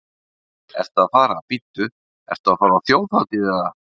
Andri: Ertu að fara, bíddu, ertu að fara á þjóðhátíð eða?